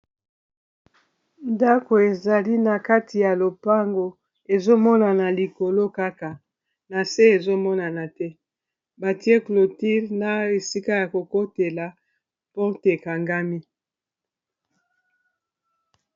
ndako ezali na kati ya lopango ezomonana likolo kaka na se ezomonana te batie cloture na esika ya kokotela porte ekangami.